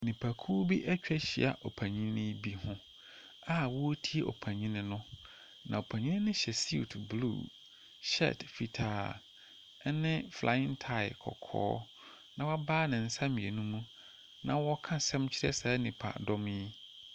Nipa kuo bi atwa ahyia ɔpanin bi ho, a ɔɔtie ɔpanin no. Na ɔpanin no hyɛ siut bluu, hyɛɛt fitaa, ɛne flayen tae kɔkɔɔ na wabae ne nsa mmienu mu, na wɔɔka asɛm kyerɛ saa nipa dɔm yi.